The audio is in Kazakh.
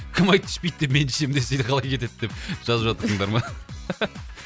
кім айтты түспейді деп мен түсем десе де қалай кетеді деп жазып жатырсыңдар ма